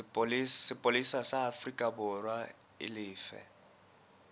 sepolesa sa aforikaborwa e lefe